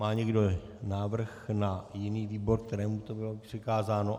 Má někdo návrh na jiný výbor, kterému to bylo přikázáno?